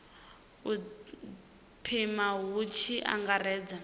u pima hu tshi angaredzwa